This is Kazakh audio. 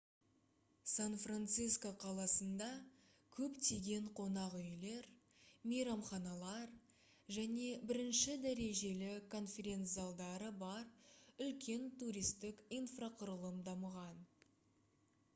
сан-франциско қаласында көптеген қонақ үйлер мейрамханалар және бірінші дәрежелі конференц-залдары бар үлкен туристік инфрақұрылым дамыған